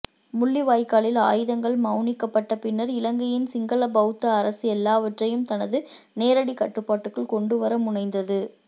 முள்ளிவாய்க்காலில் ஆயுதங்கள் மௌனிக்கப்பட்ட பின்னர் இலங்கையின் சிங்கள பௌத்த அரசு எல்லாவற்றையும் தனது நேரடிக் கட்டுப்பாட்டுக்குள் கொண்டுவர முனைந்தது